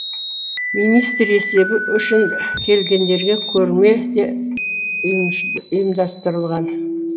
министр есебі үшін келгендерге көрме де ұйымдастырылған